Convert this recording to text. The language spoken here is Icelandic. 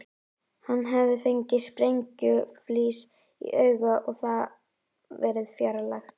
Hann hafði fengið sprengjuflís í augað og það verið fjarlægt.